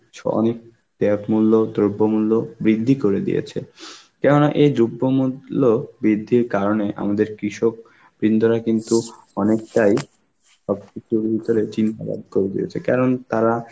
ছ~ অনেক ট্যাব মূল্য, দ্রব্যমূল্য বৃদ্ধি করে দিয়েছে কেননা এই দ্রব্যমূল~ ল্য বৃদ্ধির কারণে আমাদের কৃষক বিন্দোরা কিন্তু অনেকটাই সবকিছু চিন্তাবাদ করে দিয়েছে, কারণ তারা